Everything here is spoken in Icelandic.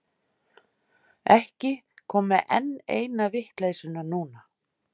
Ekki koma með enn eina vitleysuna núna.